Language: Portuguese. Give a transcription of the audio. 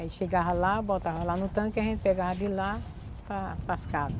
Aí chegava lá, botava lá no tanque e a gente pegava de lá para para as casa.